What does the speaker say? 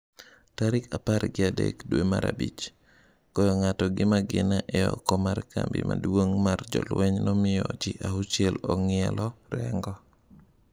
Tarik apar gi adek dwe mar Abichi- Goyo ng’ato gi magina e oko mar kambi maduong’ mar jolweny nomiyo ji auchiel ong'ielo rengo.